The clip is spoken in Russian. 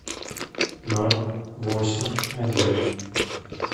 ноль восемь один